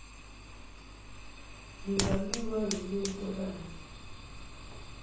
ngingaliwa yile ntokazi